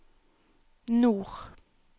nord